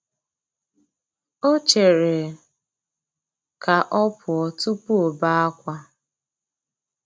O chere ka ọ pụọ tụpụ ọbe akwa.